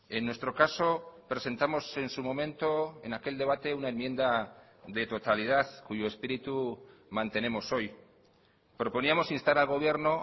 en nuestro caso presentamos en su momento en aquel debate una enmienda de totalidad cuyo espíritu mantenemos hoy proponíamos instar al gobierno